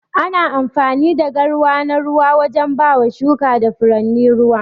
Ana amfani da garwa na ruwa wajen bama shuka da furanni ruwa.